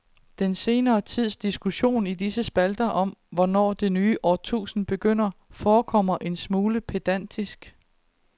Den senere tids diskussion i disse spalter om hvornår det nye årtusind begynder forekommer en smule pedantisk.